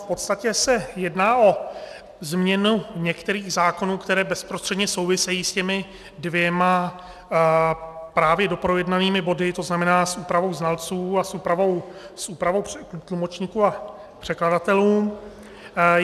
V podstatě se jedná o změnu některých zákonů, které bezprostředně souvisejí s těmi dvěma právě doprojednanými body, to znamená s úpravou znalců a s úpravou tlumočníků a překladatelů.